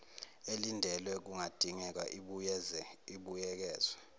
elindelwe kungadingeka ibuyekezwe